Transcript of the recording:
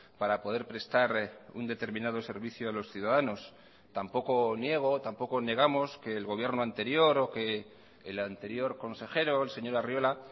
para poder prestar un determinado servicio a los ciudadanos tampoco niego tampoco negamos que el gobierno anterior o que el anterior consejero el señor arriola